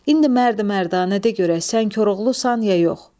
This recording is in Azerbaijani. İndi mərd mərdanə de görək, sən Koroğlusan ya yox.